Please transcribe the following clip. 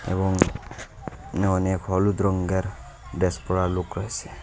এবং এখানে অনেক হলুদ রঙের ড্রেস পরা লোক রয়েসে।